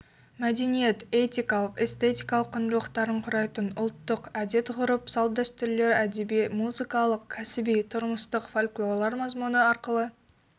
мәдениет этикалық эстетикалық құндылықтарын құрайтын ұлттық әдет-ғұрып салт-дәстүрлер әдеби музыкалық кәсіби тұрмыстық фольклорлар мазмұны арқылы